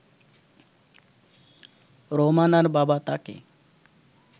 রোমানার বাবা তাকে